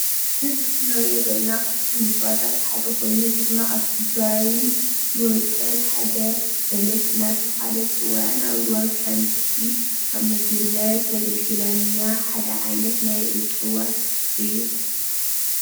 እዚ ምስሊ እንሪኦ ዘለና ካብቶም እፅዋታት ሓደ ኮይኑ እዚ ድማ ኣብ ትግራይን ዝወቅል ሓደ በለስ እናተባህለ እትጽዋዕን ኣብ እዋን ክረምቲ ከም ምግብነት ዘገልግለና ሓደ ዓይነት ናይ እጸዋት እዩ።